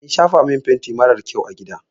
An shafa min fenti marar kyau a gida.